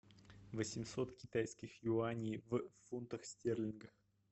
восемьсот китайских юаней в фунтах стерлингах